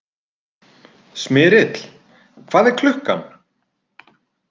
Smyrill, hvað er klukkan?